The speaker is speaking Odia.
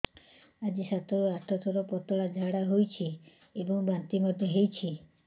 ଆଜି ସାତରୁ ଆଠ ଥର ପତଳା ଝାଡ଼ା ହୋଇଛି ଏବଂ ବାନ୍ତି ମଧ୍ୟ ହେଇଛି